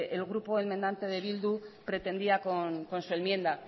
el grupo enmendante de bildu pretendía con su enmienda